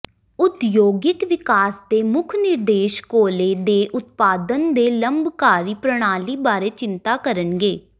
ਉਦਯੋਗਿਕ ਵਿਕਾਸ ਦੇ ਮੁੱਖ ਨਿਰਦੇਸ਼ ਕੋਲੇ ਦੇ ਉਤਪਾਦਨ ਦੇ ਲੰਬਕਾਰੀ ਪ੍ਰਣਾਲੀ ਬਾਰੇ ਚਿੰਤਾ ਕਰਨਗੇ